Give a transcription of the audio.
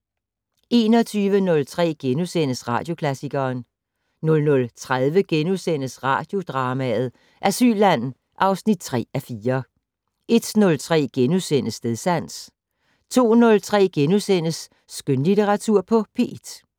21:03: Radioklassikeren * 00:30: Radiodrama: Asylland (3:4)* 01:03: Stedsans * 02:03: Skønlitteratur på P1 *